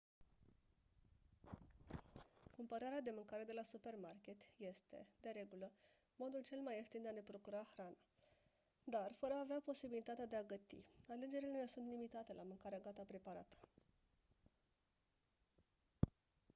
cumpărarea de mâncare de la supermarket este de regulă modul cel mai ieftin de a ne procura hrana dar fără a avea posibilitatea de a găti alegerile ne sunt limitate la mâncare gata preparată